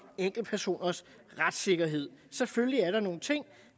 enkeltpersoners retssikkerhed selvfølgelig er der nogle ting